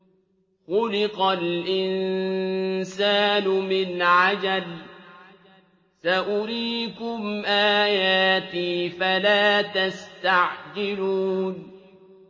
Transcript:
خُلِقَ الْإِنسَانُ مِنْ عَجَلٍ ۚ سَأُرِيكُمْ آيَاتِي فَلَا تَسْتَعْجِلُونِ